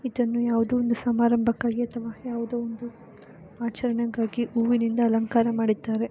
ಇದನ್ನು ಯಾವುದೊ ಒಂದು ಸಮಾರಂಬಕ್ಕಾಗಿ ಅಥವಾ ಯಾವುದೊ ಇಂದು ಆಚರಣೆಗಾಗಿ ಹೂವಿನಿಂದ ಅಲಂಕಾರ ಮಾಡಿದ್ದಾರೆ .